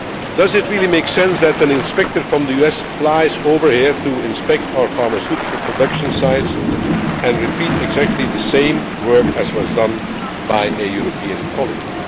protection. Does it really make sense for an inspector from the US to fly over here to inspect our pharmaceutical production sites and repeat exactly the same work already done by a European